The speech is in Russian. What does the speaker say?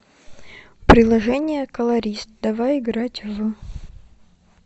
приложение колорист давай играть в